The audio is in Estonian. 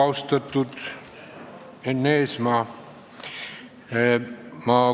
Austatud Enn Eesmaa!